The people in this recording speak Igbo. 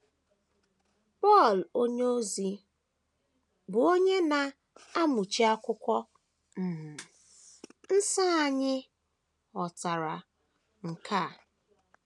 Pọl onyeozi, bụ́ onye na - amụchi Akwụkwọ um Nsọ anya, ghọtara nke a.